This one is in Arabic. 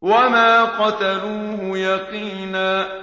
وَمَا قَتَلُوهُ يَقِينًا